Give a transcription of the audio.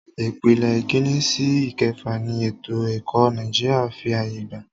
Ìpele ìkínní sí ìkẹfà ni ètò ẹ̀kọ́ Nàìjíríà fí ààyè gbà.